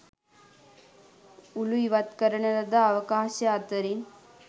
උළු ඉවත් කරන ලද අවකාශය අතරින්